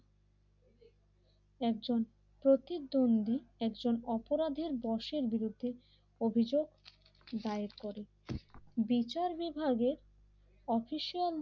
একজন প্রতিদ্বন্দ্বী একজন অপরাধের বয়সের বিরুদ্ধে অভিযোগ দায়ের করে বিচার বিভাগের অফিসিয়াল